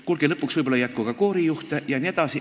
Kuulge, lõpuks ei jätku võib-olla ka koorijuhte jne.